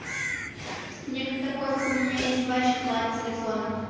мне как-то пофиг у меня есть два чехла от телефона